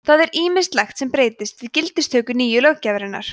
það er ýmislegt sem breytist við gildistöku nýju löggjafarinnar